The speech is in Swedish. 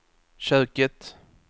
köket